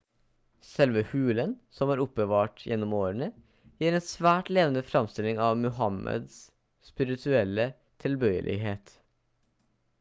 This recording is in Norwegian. selve hulen som er oppbevart gjennom årene gir en svært levende framstilling av muhammads spirituelle tilbøyelighet